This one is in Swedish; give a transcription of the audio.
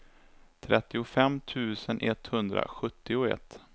trettiofem tusen etthundrasjuttioett